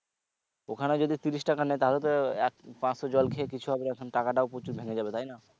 ওখানে যদি তিরিশ টাকা নেয় তাহলে তো এক পাঁচশো জল খেয়ে কিছু হবে না টাকাটাও প্রচুর লেগে যাবে তাই না?